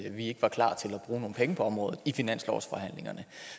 at vi ikke var klar til at bruge nogle penge på området i finanslovsforhandlingerne